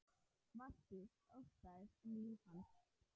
Valtýr: Óttaðist um líf hans?